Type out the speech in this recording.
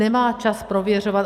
Nemá čas prověřovat.